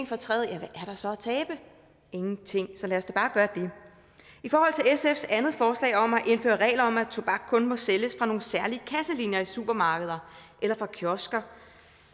fortræd ja hvad er der så at tabe ingenting så lad os da bare gøre det i forhold til sfs andet forslag om at indføre regler om at tobak kun må sælges fra nogle særlige kasselinjer i supermarkeder eller fra kiosker